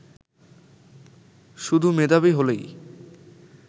শুধু মেধাবী হলেই